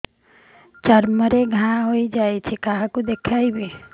ଚର୍ମ ରେ ଘା ହୋଇଯାଇଛି କାହାକୁ ଦେଖେଇବି